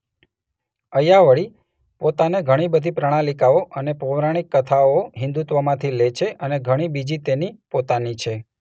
અય્યાવળી પોતાને ઘણી બધી પ્રણાલિકાઓ અને પૌરાણિક કથાઓ હિંદુત્વમાંથી લે છે અને ઘણી બીજી તેની પોતાની છે.